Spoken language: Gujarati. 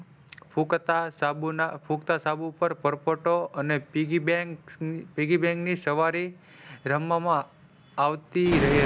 પુખતા સાબુ ના ફૂંકતા સાબુ પર પરપોટો અને piggybank ની સવારે રમવામાં આવતી રહે.